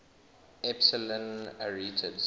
epsilon arietids